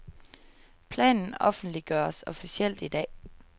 Planen offentliggøres officielt i dag.